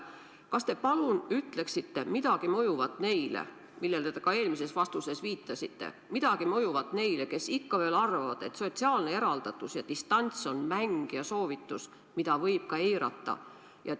Kas te palun ütleksite midagi mõjuvat neile – te sellele ka eelmises vastuses viitasite –, kes ikka veel arvavad, et sotsiaalne eraldatus ja distants on mäng ja soovitus, mida võib ka eirata?